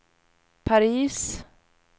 Paris